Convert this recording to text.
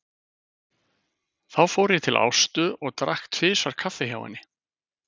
Þá fór ég til Ástu og drakk tvisvar kaffi hjá henni.